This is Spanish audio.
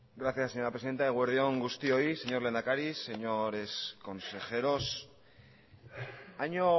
gracias señora presidenta eguerdi on guztioi señor lehendakari señores consejeros año